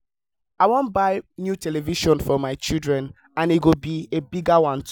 i wan buy new television for my children and e go be a bigger one too